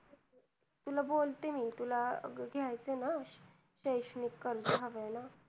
तुला बोलते मी, तुला घ्यायचंय ना. शैक्षणिक कर्ज हवंय ना?